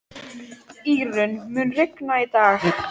Írunn, mun rigna í dag?